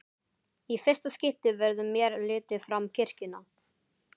Í fyrsta skipti verður mér litið fram kirkjuna.